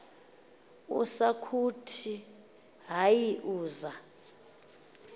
usakuthi hayi uz